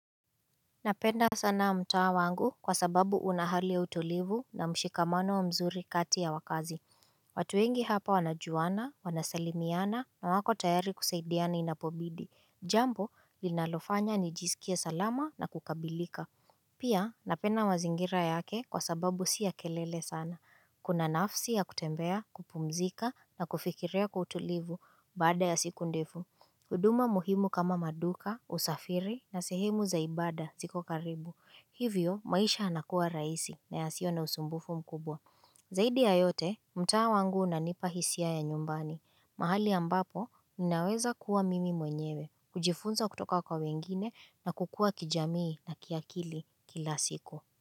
Napenda sana mtaa wangu, kwa sababu una hali ya utulivu na mshikamano mzuri kati ya wakazi. Watu wengi hapa wanajuana, wanasalimiana, na wako tayari kusaidiana inapobidi. Jambo, linalofanya nijiskie salama na kukamilika Pia, napenda mazingira yake kwa sababu sio ya kelele sana. Kuna nafsi ya kutembea, kupumzika na kufikiria kwa utulivu baada ya siku ndefu huduma muhimu kama maduka, usafiri na sehemu za ibada ziko karibu. Hivyo, maisha yanakuwa rahisi na ya yasiyo na usumbufu mkubwa. Zaidi ya yote, mtaa wangu unanipa hisia ya nyumbani. Mahali ambapo, ninaweza kuwa mimi mwenyewe, kujifunza kutoka kwa wengine na kukua kijamii na kiakili kila siku.